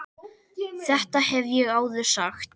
Þetta hef ég áður sagt.